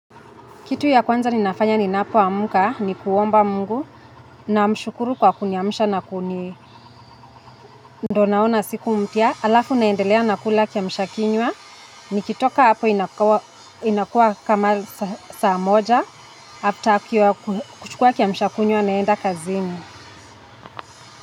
Kitu ya kwanza ninafanya ninapo amka ni kuomba Mungu namshukuru kwa kuniamsha na kuni ndo naona siku mpya alafu naendelea nakula kiamshakinywa nikitoka hapo inakua kama saa moja baada ya kuchukua kimshakinywa naenda kazini.